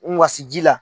N wasi ji la